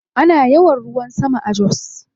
Ana yawan ruwan sama a Jos.